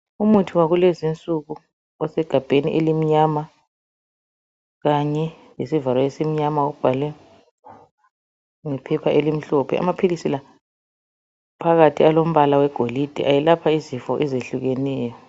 Umuthi wakulezinsuku osegabheni elimnyama kanye lesivalo esimnyana ubhalwe ngephepha elimhlophe. Amaphilisi la, phakathi alombala wegolide ayelapha izifo ezehlukeneyo.